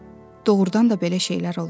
Doğurdan da belə şeylər olur.